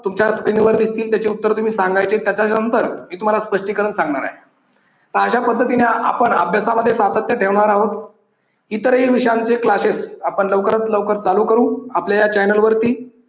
तुमच्या स्क्रीनवर दिसतील त्याची उत्तरे तुम्ही सांगायची त्याच्यानंतर मी तुम्हाला त्याचं स्पष्टीकरण सांगणार आहे. तर अशा पद्धतीने आपण अभ्यासामध्ये सातत्य ठेवणार आहोत. इतरही विषयांचे classes आपण लवकरच लवकर चालू करू. आपल्या channel वरती